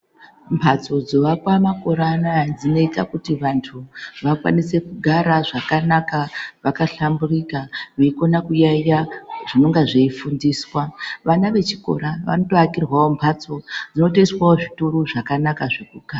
Mhatso dzovakwa makore anaya dzinoita kuti vantu vakwanise kugara zvakanaka vakahlamburika, veikona kuyaiya zvinonga zveifundiswa. Vana vechikora vanotoakirwawo mbatso dzinotoiswa zvituru zvakanaka zvekugara.